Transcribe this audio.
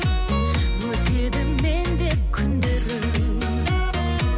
өтеді мен деп күндерің